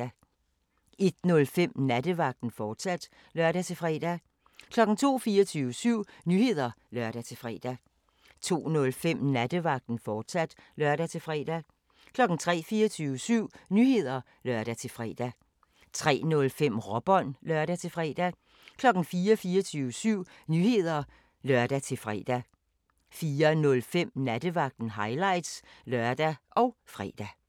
01:05: Nattevagten, fortsat (lør-fre) 02:00: 24syv Nyheder (lør-fre) 02:05: Nattevagten, fortsat (lør-fre) 03:00: 24syv Nyheder (lør-fre) 03:05: Råbånd (lør-fre) 04:00: 24syv Nyheder (lør-fre) 04:05: Nattevagten – highlights (lør og fre)